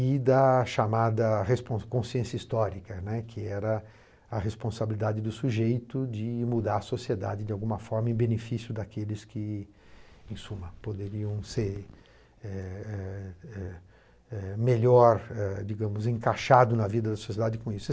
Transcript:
e da chamada responsa consciência histórica, né, que era a responsabilidade do sujeito de mudar a sociedade de alguma forma em benefício daqueles que, em suma, poderiam ser eh eh eh eh eh melhor eh digamos encaixados na vida da sociedade com isso.